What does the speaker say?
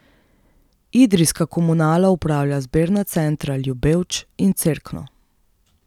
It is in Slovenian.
Idrijska komunala upravlja zbirna centra Ljubevč in Cerkno.